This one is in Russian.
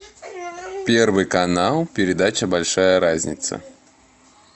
первый канал передача большая разница